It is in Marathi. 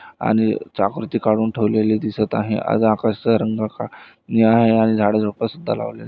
आणि चाकृती काडून ठेवलेली दिसत आहे आणि झाडी झुडपं लावलेलं--